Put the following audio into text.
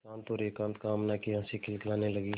शांत और एकांत कामना की हँसी खिलखिलाने लगी